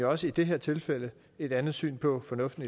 også i det her tilfælde et andet syn på fornuften